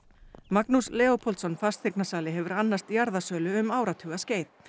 Magnús Leópoldsson fasteignasali hefur annast jarðasölu um áratuga skeið